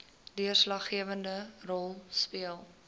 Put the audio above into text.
deurslaggewende rol speel